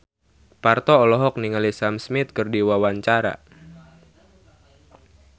Parto olohok ningali Sam Smith keur diwawancara